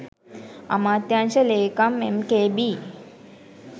අමාත්‍යාංශ ලේකම් එම්.කේ.බී.